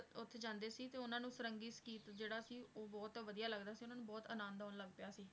ਉੱਥੇ ਜਾਂਦੇ ਸੀ ਤੇ ਉਹਨਾਂ ਨੂੰ ਸਾਰੰਗੀ ਸੰਗੀਤ ਜਿਹੜਾ ਸੀ, ਉਹ ਬਹੁਤ ਵਧੀਆ ਲੱਗਦਾ ਸੀ, ਉਹਨਾਂ ਨੂੰ ਬਹੁਤ ਆਨੰਦ ਆਉਣ ਲੱਗ ਪਿਆ ਸੀ,